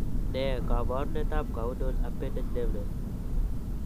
Ne kaabarunetap Caudal appendage deafness?